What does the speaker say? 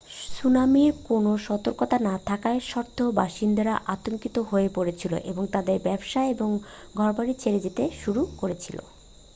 সুনামির কোনও সতর্কতা না থাকা সত্ত্বেও বাসিন্দারা আতঙ্কিত হয়ে পরেছিল এবং তাদের ব্যবসা এবং ঘরবাড়ি ছেড়ে যেতে শুরু করেছিল